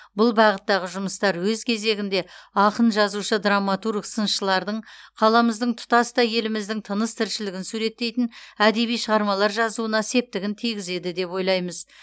бұл бағыттағы жұмыстар өз кезегінде ақын жазушы драматург сыншылардың қаламыздың тұтастай еліміздің тыныс тіршілігін суреттейтін әдеби шығармалар жазуына септігін тигізеді деп ойлаймыз